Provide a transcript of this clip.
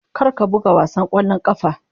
Kar ka buga wasan ƙwallon ƙafa.